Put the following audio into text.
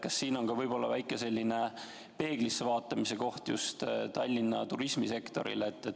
Kas siin võib olla selline väike peeglisse vaatamise koht just Tallinna turismisektoril?